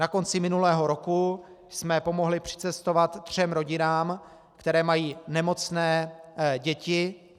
Na konci minulého roku jsme pomohli přicestovat třem rodinám, které mají nemocné děti.